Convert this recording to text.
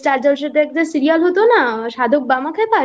Star Jalsha তে একটা serial হতো না সাধক বামাখ্যাপা